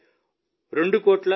ఈసారి 2